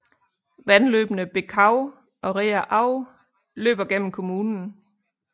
Vandløbene Bekau og Reher Au løber gennem kommunen